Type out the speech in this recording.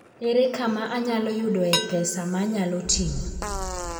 Ere kama anyalo yudoe pesa ma anyalo ting'o?